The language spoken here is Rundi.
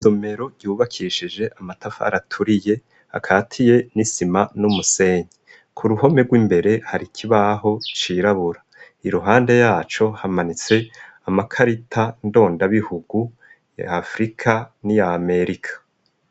Isomero yubakishije amatafari aturiye akatiye n'isima n'umusenyi ku ruhome rw'imbere hari kibaho cirabura i ruhande yaco hamanitse amakarita ndondabihugu ya afrika n'iya amerika.